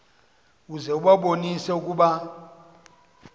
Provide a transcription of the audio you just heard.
uze ubabonise ukuba